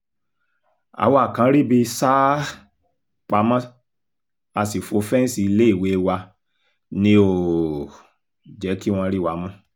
àwa kan ríbi sá um pamọ́ a sì fọ́ fẹ́ǹsì iléèwé wa ni ò um jẹ́ kí wọ́n rí wa mú